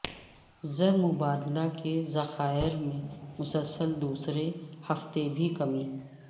زر مبادلہ کے ذخائر میں مسلسل دوسرے ہفتہ بھی کمی